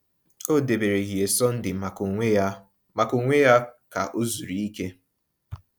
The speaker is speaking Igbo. O debere ehihie Sọnde maka onwe ya maka onwe ya ka o zuru ike.